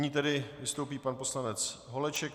Nyní tedy vystoupí pan poslanec Holeček.